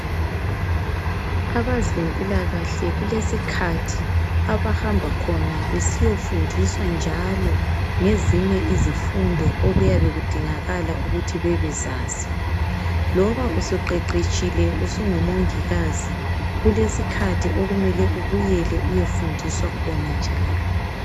Abezempilakahle kulesikhathi abahamba khona besiyofundiswa njalo ngezinye izifundo okuyabe kudingakala ukuthi bebezazi. Loba usuqeqetshile usungumongikazi kulesikhathi okumele ubuyele uyefundiswa khona njalo.